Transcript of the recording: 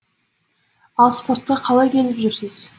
ал спортқа қалай келіп жүрсіз